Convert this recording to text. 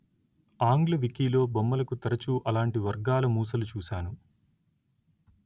ఆంగ్ల వికీలో బొమ్మలకు తరచు అలాంటి వర్గాల మూసలు చూశాను